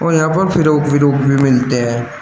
यहां पर फ्रॉक वीरॉक भी मिलते हैं।